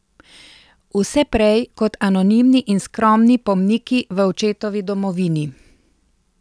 Vse prej kot anonimni in skromni pomniki v očetovi domovini!